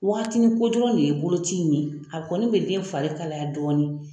Waatini ko dɔrɔn le ye boloci in ye, a kɔni bɛ den fari kalaya dɔɔni.